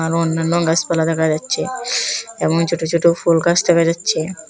এবং অন্যান্য গাছপালা দেখা যাচ্ছে এবং ছোট ছোট ফুল গাছ দেখা যাচ্ছে।